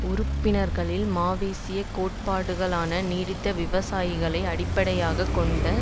உறுப்பினர்களில் மாவோயிச கோட்பாடுகளான நீடித்த விவசாயிகளை அடிப்படையாக கொண்ட கெரில்லா